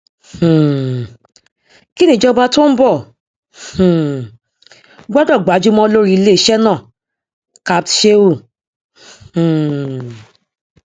um kí ni ìjọba tó ń bọ um gbọdọ gbájúmọ lórí iléeṣẹ náà capt sheu um